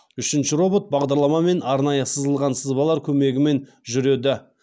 үшінші робот бағдарламамен арнайы сызылған сызбалар көмегімен жүреді